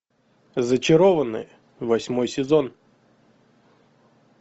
зачарованные восьмой сезон